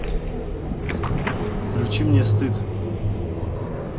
включи мне стыд